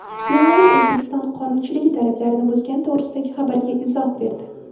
Beeline O‘zbekiston qonunchiligi talablarini buzgani to‘g‘risidagi xabarga izoh berdi.